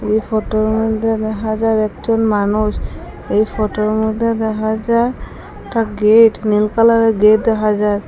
এই ফটোর মইদ্যে দেখা যায় একজন মানুষ এই ফটোর মইদ্যে দেখা যায় একটা গেট নীল কালারের গেট দেখা যায়।